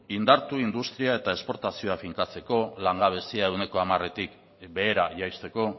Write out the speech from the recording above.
indartu industria eta esportazioa finkatzeko langabezia ehuneko hamaretik behera jaisteko